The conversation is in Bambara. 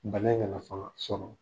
Bana in nana fɔlɔ sɔrɔ.